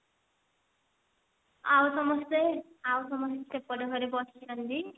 ଆଉ ସମସ୍ତେ ଆଉ ସମସ୍ତେ ସେପଟ ଘରେ ବସିଛନ୍ତି